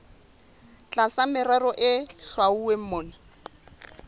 tlasa merero e hlwauweng mona